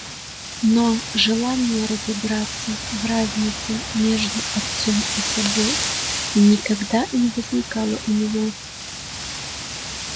но желания разобраться в разнице между отцом и собой никогда не возникало у него